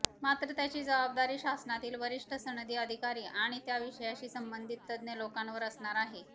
मात्र त्याची जबाबदारी शासनातील वरिष्ठ सनदी अधिकारी आणि त्या विषयाशी संबंधित तज्ञ लोकांवर असणार आहे